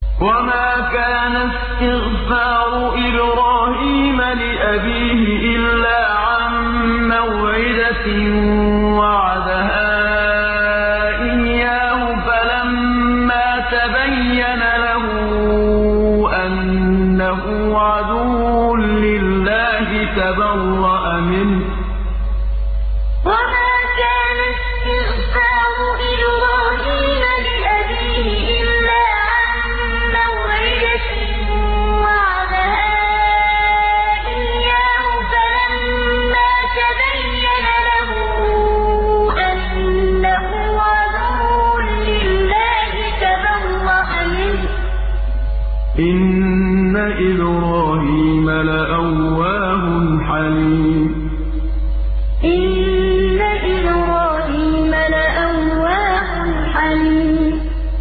وَمَا كَانَ اسْتِغْفَارُ إِبْرَاهِيمَ لِأَبِيهِ إِلَّا عَن مَّوْعِدَةٍ وَعَدَهَا إِيَّاهُ فَلَمَّا تَبَيَّنَ لَهُ أَنَّهُ عَدُوٌّ لِّلَّهِ تَبَرَّأَ مِنْهُ ۚ إِنَّ إِبْرَاهِيمَ لَأَوَّاهٌ حَلِيمٌ وَمَا كَانَ اسْتِغْفَارُ إِبْرَاهِيمَ لِأَبِيهِ إِلَّا عَن مَّوْعِدَةٍ وَعَدَهَا إِيَّاهُ فَلَمَّا تَبَيَّنَ لَهُ أَنَّهُ عَدُوٌّ لِّلَّهِ تَبَرَّأَ مِنْهُ ۚ إِنَّ إِبْرَاهِيمَ لَأَوَّاهٌ حَلِيمٌ